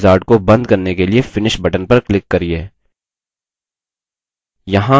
इस wizard को बंद करने के लिए finish button पर click करिये